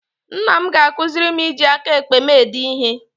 Nna m ga-akụziri m iji aka ekpe m ede ihe